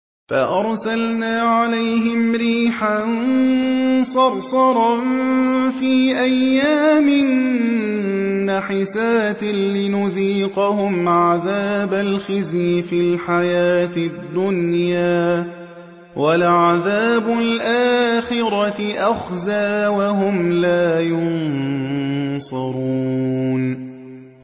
فَأَرْسَلْنَا عَلَيْهِمْ رِيحًا صَرْصَرًا فِي أَيَّامٍ نَّحِسَاتٍ لِّنُذِيقَهُمْ عَذَابَ الْخِزْيِ فِي الْحَيَاةِ الدُّنْيَا ۖ وَلَعَذَابُ الْآخِرَةِ أَخْزَىٰ ۖ وَهُمْ لَا يُنصَرُونَ